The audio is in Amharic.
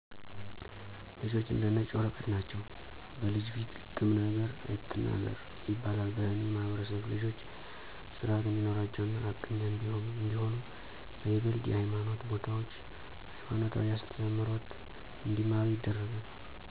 ልጆች እንደ ነጭ ወረቀት ናቸዉ። " በልጅ ፊት ግም ነገር አትናገር " ይባላል በእኔ ማህበረሰብ ልጆች ስርአት እንዲኖራቸው እና ሀቀኛ እንዲሆኑ በይበልጥ የሀይማኖት ቦታዎች ሀይማኖታዊ አስተምሮት እንዲማሩ ይደረጋል።